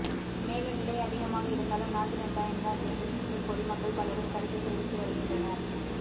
மேலும் விலை அதிகமாக இருந்தாலும் நாட்டு வெங்காயம் தான் வேண்டும் என்றும் பொதுமக்கள் பலரும் கருத்து தெரிவித்து வருகின்றனர்